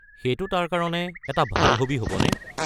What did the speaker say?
সেইটো তাৰ কাৰণে এটা ভাল হবী হ'বনে?